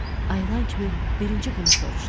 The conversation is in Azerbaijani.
Ayılan kimi birinci bunu soruşdu.